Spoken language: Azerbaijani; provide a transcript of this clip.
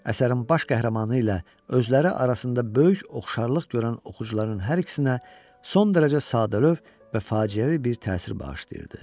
Əsərin baş qəhrəmanı ilə özləri arasında böyük oxşarlıq görən oxucuların hər ikisinə son dərəcə sadəlövh və faciəvi bir təsir bağışlayırdı.